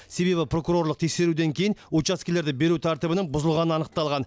себебі прокурорлық тексеруден кейін учаскелерді беру тәртібінің бұзылғаны анықталған